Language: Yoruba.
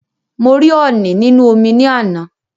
Mo rí ọ̀ọ̀nì nínú omi ní àná